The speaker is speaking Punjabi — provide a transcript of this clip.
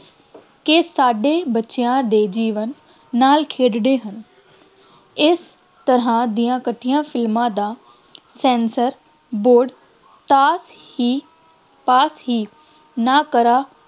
ਕਿ ਸਾਡੇ ਬੱਚਿਆਂ ਦੇ ਜੀਵਨ ਨਾਲ ਖੇਡਦੇ ਹਨ, ਇਸ ਤਰ੍ਹਾਂ ਦੀਆਂ ਘਟੀਆਂ ਫਿਲਮਾਂ ਦਾ Censor Board ਤਾਂ ਹੀ pass ਹੀ ਨਾ ਕਰਾਂ,